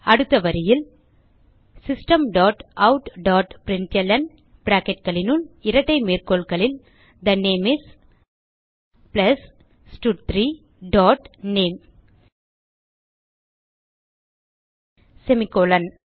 அடுத்த வரியில் system dot out dot println bracketகளினுள் இரட்டை மேற்கோள்களில் தே நேம் இஸ் பிளஸ் ஸ்டட்3 டாட் நேம் செமிகோலன்